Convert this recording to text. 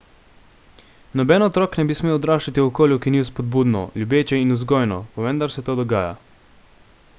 noben otrok ne bi smel odraščati v okolju ki ni vzpodbudno ljubeče in vzgojno pa vendar se to dogaja